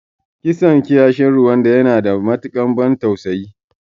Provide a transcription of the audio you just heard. Kisan kiyashin Rwanda yana da matuƙar ban tausayi.